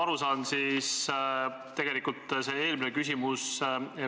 Hea ettekandja!